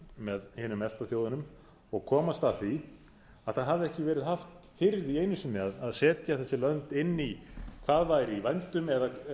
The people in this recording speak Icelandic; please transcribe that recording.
með hinum efta þjóðunum og komast að því að það hafði ekki verið haft fyrir því einu sinni að setja þessi lönd inn í hvað væri í vændum eða